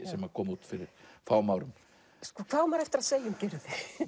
sem kom út fyrir fáum árum hvað á maður eftir að segja um Gyrði